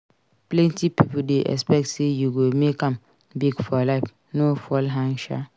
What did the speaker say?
Plenty pipo dey expect sey you go make am big for life. No fall hand sha!